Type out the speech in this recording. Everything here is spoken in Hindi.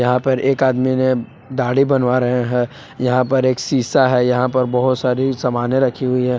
यहा पर एक आदमी ने दाढ़ी बनवा रहे हैं। यहां पर एक सीसा है। यहां पर बहुत सारी सामाने रखी हुई हैं।